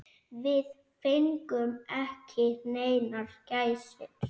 Við fengum ekki neinar gæsir.